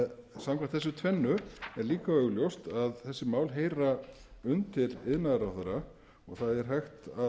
samkvæmt þessu tvennu er líka augljóst að þessi mál heyra undir iðnaðarráðherra og það er hægt